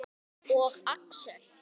Og Axel.